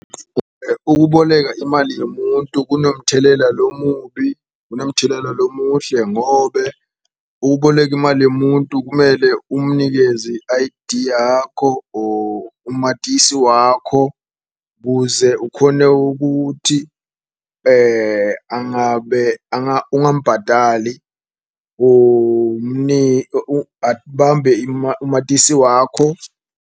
Ukuboleka imali yomuntu kunomthelela lomubi, kunomthelela lomuhle ngobe ukuboleka imali yomuntu, kumele umnikeze i-I_D yakho or umatisi wakho. Kuze ukhone ukuthi angabe ungambhadali abambe umatisi wakho.